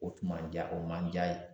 O tun man ja o man ja ye.